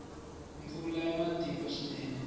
mpfula ya matimba swinene